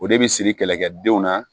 O de bi siri kɛlɛkɛdenw na